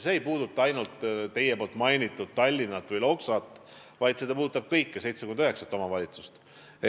See ei puuduta ainult teie mainitud Tallinna või Loksat, vaid see puudutab kõiki 79 omavalitsust.